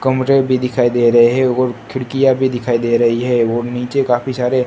कमरे भी दिखाई दे रहे और खिड़कियां भी दिखाई दे रही है और नीचे काफी सारे--